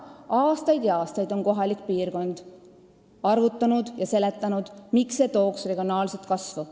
Aastaid ja aastaid on kohapeal arvutatud ja seletatud, et see tooks kaasa regionaalset kasvu.